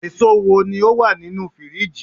eso wo ni o wa ninu firiji